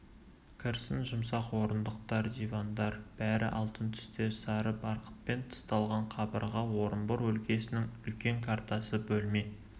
кірсін жұмсақ орындықтар дивандар бәрі алтын түстес сары барқытпен тысталған қабырғада орынбор өлкесінің үлкен картасы бөлме